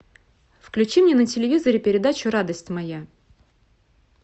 включи мне на телевизоре передачу радость моя